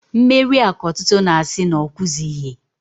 Mmerịa k'ọtụtụ na-asị na ọkwụzịghị.